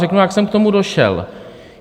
Řeknu, jak jsem k tomu došel.